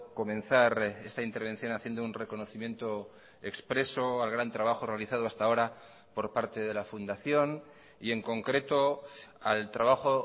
comenzar esta intervención haciendo un reconocimiento expreso al gran trabajo realizado hasta ahora por parte de la fundación y en concreto al trabajo